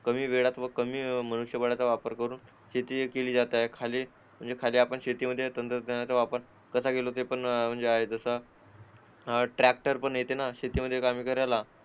कमी वेळात व कमी मनुष्यबळाचा वापर करून शेती केली जात आहे म्हणजे एखाद्या शेतीमध्ये पण तंत्रज्ञानाचा वापर कसा केला म्हणजे तसा ट्रॅक्टर पण येते कामी करताना